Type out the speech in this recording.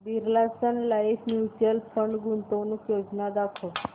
Birla Sun Life mutual fund गुंतवणूक योजना दाखव